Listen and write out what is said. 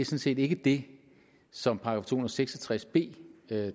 set ikke det som § to og seks og tres b